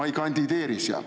Ma ei kandideeri seal.